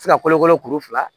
Se ka kolokolo kuru fila